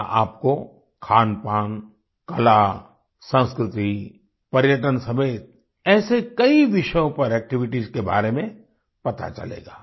यहाँ आपको खानपान कला संस्कृति पर्यटन समेत ऐसे कई विषयों पर एक्टिविटीज के बारे में पता चलेगा